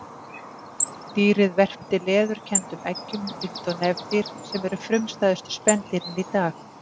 Dýrið verpti leðurkenndum eggjum líkt og nefdýr sem eru frumstæðustu spendýrin í dag.